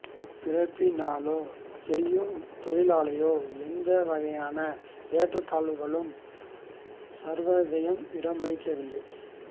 பிறப்பினாலோ செய்யும் தொழிலாலோ எந்த வகையான ஏற்றத்தாழ்வுகளுக்கும் சர்வோதயம் இடமளிக்கவில்லை